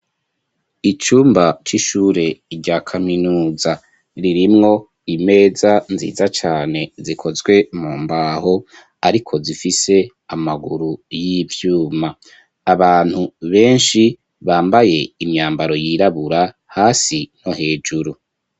icumba c'ishure rya kaminuza ririmwo imeza nziza cane zikozwe mu mbaho ariko zifise amaguru y'ivyuma abantu benshi bambaye imyambaro yirabura hasi no hejuru